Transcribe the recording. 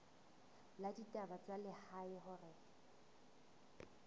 la ditaba tsa lehae hore